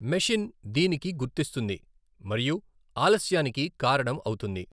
Machine దీనికి గుర్తిస్తుంది మరియు ఆలస్యానికి కారణం అవుతుంది.